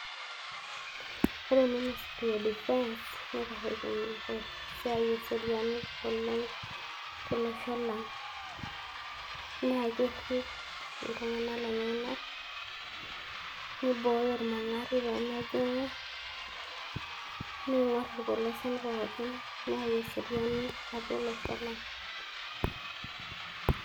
Ore minisiri edifens neitashekito esiai eseriani oleng' tolosho lang' naa kerrip iltung'anak lenyenak neing'orr irmang'ati peemejing'u nerripito irpilosien pookin neyau eseriani atua olosho lang'